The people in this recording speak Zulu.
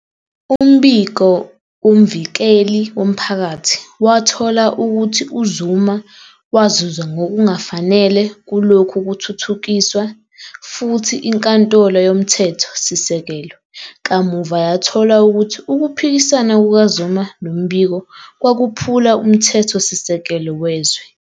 Umbiko woMvikeli womphakathi wathola ukuthi uZuma wazuza ngokungafanele kulokhu kuthuthukiswa futhi INkantolo Yomthetho-sisekelo kamuva yathola ukuthi ukuphikisana kukaZuma nombiko kwakuphula Umthetho-sisekelo wezwe.